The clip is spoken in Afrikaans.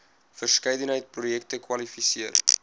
verskeidenheid projekte kwalifiseer